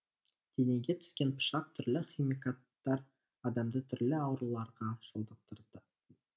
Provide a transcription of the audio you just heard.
денеге түскен пышақ түрлі химикаттар адамды түрлі ауруларға шалдықтырды